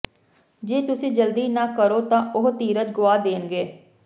ਜੇ ਤੁਸੀਂ ਜਲਦੀ ਨਾ ਕਰੋ ਤਾਂ ਉਹ ਧੀਰਜ ਗੁਆ ਦੇਣਗੇ